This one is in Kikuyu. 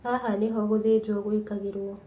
Haha nĩho gũthĩnjwo gwĩkagĩrwo